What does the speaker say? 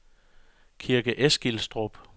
Kirke Eskilstrup